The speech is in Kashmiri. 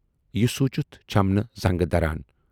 یہِ سوٗنچِتھ چھَم نہٕ زنگہٕ دران۔